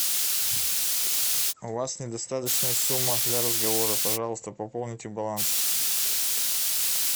у вас недостаточная сумма для разговора пожалуйста пополните баланс